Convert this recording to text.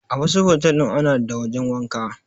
A wasu otel din ana da wajen wanka.